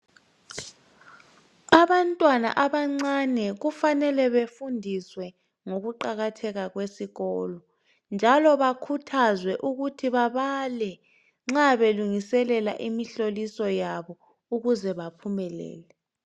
Abantwana abancane kufanele befundiswe ngokuqakatheka kwesikolo njalo bakhuthazwe ukuthi babale nxa belungiselela imihloliso yabo ukuze baphumelele.